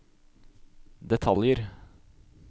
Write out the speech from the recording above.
detaljer